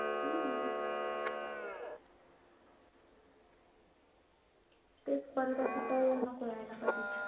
तेच परत तर असं नको यायला कधीच.